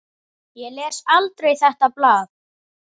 Ég les aldrei þetta blað.